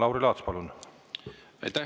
Lauri Laats, palun!